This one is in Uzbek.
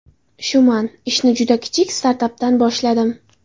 Shuman: Ishni juda kichik startapdan boshladim.